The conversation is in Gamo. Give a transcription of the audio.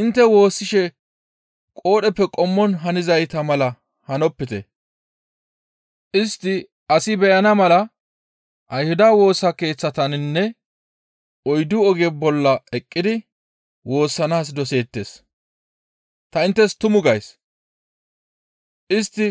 «Intte woossishe qoodheppe qommon hanizayta mala hanopite; istti asi beyana mala Ayhuda woosa keeththataninne oyddu oge bolla eqqidi woossanaas doseettes. Ta inttes tumu gays; istti